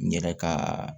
N yɛrɛ ka